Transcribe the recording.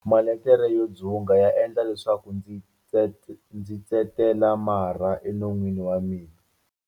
Malekere yo dzunga ya endla leswaku ndzi tsetela marha enon'weni wa mina.